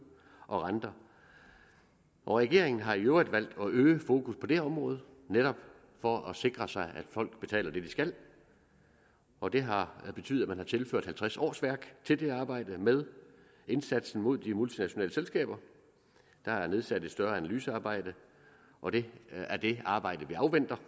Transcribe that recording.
og renter regeringen har i øvrigt valgt at øge fokus på det område netop for at sikre sig at folk betaler det de skal og det har betydet at man har tilført halvtreds årsværk til det arbejde med indsatsen mod de multinationale selskaber der er igangsat et større analysearbejde og det er det arbejde vi afventer